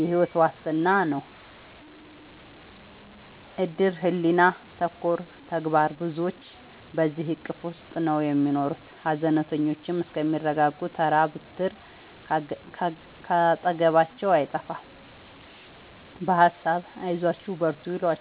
የሕይወት ዋስትና ነው እድር ሕሊና ተኮር ተግባር ብዙዎች በዚሕ እቅፍ ውስጥ ነው የሚኖሩት ሀዘነተኞቹ እስከሚረጋጉ ተራ ብትር ካጠገባቸው አይጠፍም በሀሳብ አይዟችሁ በርቱ ይሏቸዋል።